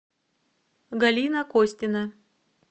галина костина